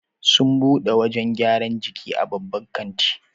Sun bude wajan gyran jiki a babban katin